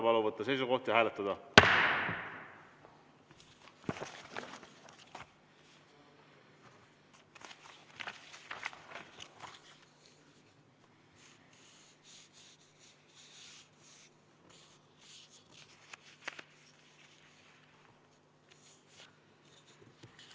Palun võtta seisukoht ja hääletada!